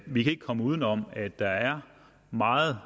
vi kan ikke komme udenom at der er meget